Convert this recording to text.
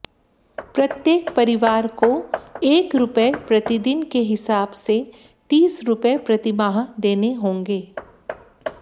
प्रत्येक परिवार को एक रुपए प्रतिदिन के हिसाब से तीस रुपए प्रतिमाह देने होंगे